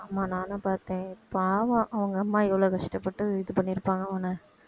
ஆமா நானும் பாத்தேன் பாவம் அவுங்க அம்மா எவ்ளோ கஷ்டப்பட்டு இது பண்ணியிருப்பாங்க அவன